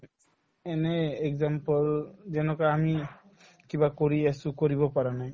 এনেই example যেনেকুৱা আমি কিবা কৰি আছো কৰিব পৰা নাই